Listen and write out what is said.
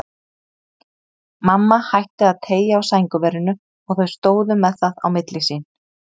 Mamma hætti að teygja á sængurverinu og þau stóðu með það á milli sín.